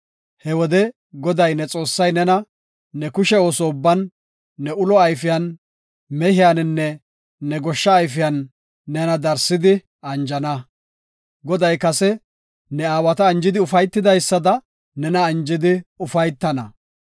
He wode Goday ne Xoossay nena ne kushe ooso ubban, ne ulo ayfiyan, mehiyaninne ne goshsha ayfiyan nena darsidi anjana. Goday kase ne aawata anjidi ufaytidaysada nena anjidi ufaytana.